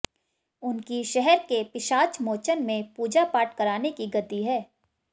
उनकी शहर के पिशाचमोचन में पूजा पाठ कराने की गद्दी है